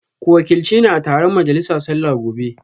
Ku wakilci ni a taron majalisa sallah gobe